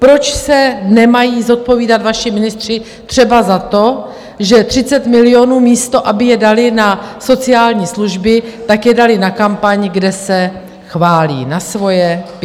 Proč se nemají zodpovídat vaši ministři třeba za to, že 30 milionů, místo aby je dali na sociální služby, tak je dali na kampaň, kde se chválí, na svoje PR?